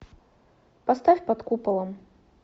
поставь под куполом